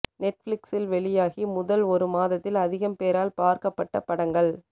நெட்பிளிக்ஸில் வெளியாகி முதல் ஒரு மாதத்தில் அதிகம் பேரால் பார்க்கப்பட்ட படங்கள்